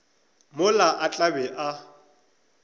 mola a tla be a